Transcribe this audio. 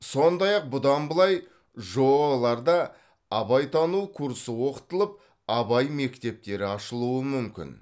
сондай ақ бұдан былай жоо ларда абайтану курсы оқытылып абай мектептері ашылуы мүмкін